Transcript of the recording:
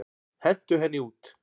Hentu henni út!